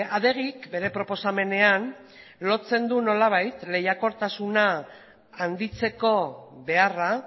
adegik bere proposamenean lotzen du nolabait lehiakortasuna handitzeko beharra